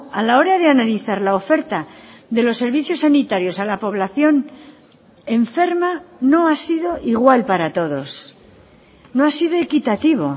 a la hora de analizar la oferta de los servicios sanitarios a la población enferma no ha sido igual para todos no ha sido equitativo